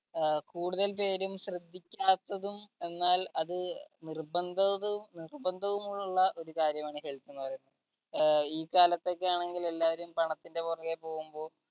ആ കൂടുതൽ പേരും ശ്രദ്ധിക്കാത്തതും എന്നാൽ അത് നിർബന്ധതും നിർബന്ധവും ഉള്ള ഒരു കാര്യമാണ് health എന്ന് പറയുന്നത് ഏർ ഈ കാലത്തൊക്കെ ആണെങ്കിൽ എല്ലാരും പണത്തിന്റെ പൊറകേ പോവുമ്പോ